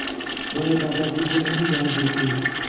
वह दादाजी को नहीं जानते थे